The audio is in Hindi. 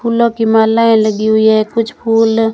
फूलों की मालाएं लगी हुई हैं कुछ फूल--